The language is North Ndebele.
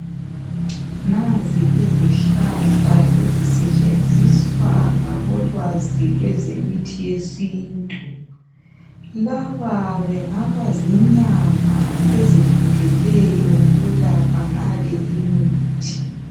Nazi izihlahla ezisetshenziswa ngabolwazi lwezemithi yesintu. Laba bangaba zinyanga ezifundeleyo ukulapha ngale imithi.